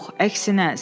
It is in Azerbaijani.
Yox, əksinə,